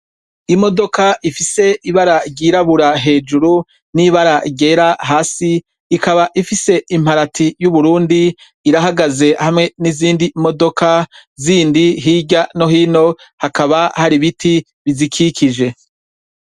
Imodoka Ifise ibara ryirabura hejuru nibara ryera hasi ikaba Ifise imparati yu Burundi irahagaze hamwe nizindi modoka hirya nohino hakaba hari ibiti bikikije.